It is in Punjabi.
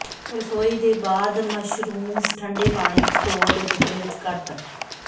ਰਸੋਈ ਦੇ ਬਾਅਦ ਮਸ਼ਰੂਮਜ਼ ਠੰਡੇ ਪਾਣੀ ਵਿਚ ਧੋ ਅਤੇ ਟੁਕੜੇ ਵਿੱਚ ਕੱਟ